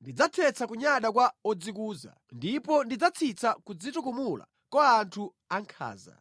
Ndidzathetsa kunyada kwa odzikuza, ndipo ndidzatsitsa kudzitukumula kwa anthu ankhanza.